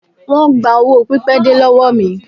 Wón gba owó pipede lọ́wọ́ mi.